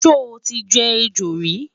sho tí jẹ ẹjọ rí?